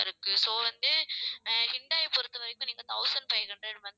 இருக்கு so வந்து அஹ் ஹூண்டாய் பொறுத்தவரைக்கும், நீங்க thousand five hundred வந்து